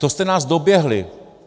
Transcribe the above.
To jste nás doběhli.